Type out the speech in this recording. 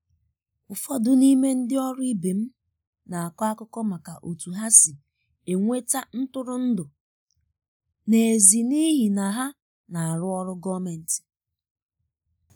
ụfọdụ n'ime ndị ọrụ ibe m na-akọ akụkọ maka otu ha si enweta ntụrụndụ n’èzí n'ihi na ha na-arụ ọrụ gọọmentị..